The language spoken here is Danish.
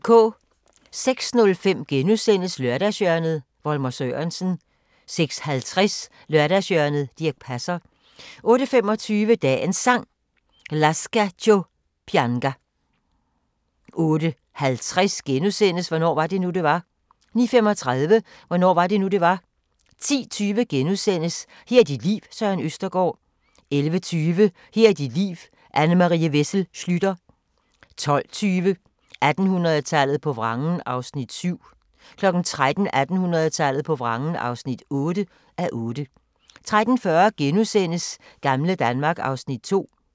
06:05: Lørdagshjørnet – Volmer Sørensen * 06:50: Lørdagshjørnet - Dirch Passer 08:25: Dagens Sang: Lascia ch'io pianga 08:50: Hvornår var det nu, det var? * 09:35: Hvornår var det nu, det var? 10:20: Her er dit liv – Søren Østergaard * 11:20: Her er dit liv – Anne Marie Wessel Schlüter 12:20: 1800-tallet på vrangen (7:8) 13:00: 1800-tallet på vrangen (8:8) 13:40: Gamle Danmark (Afs. 2)*